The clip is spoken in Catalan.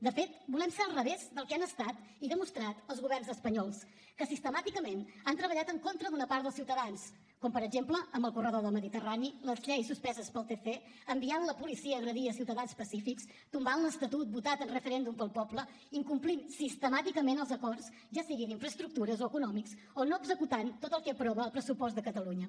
de fet volem ser al revés del que han estat i demostrat els governs espanyols que sistemàticament han treballat en contra d’una part dels ciutadans com per exemple amb el corredor del mediterrani les lleis suspeses pel tc enviant la policia a agredir ciutadans pacífics tombant l’estatut votat en referèndum pel poble incomplint sistemàticament els acords ja sigui d’infraestructures o econòmics o no executant tot el que aprova el pressupost de catalunya